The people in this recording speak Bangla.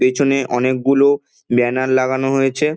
পেছনে অনেকগুলো ব্যানার লাগানো হয়েছে ।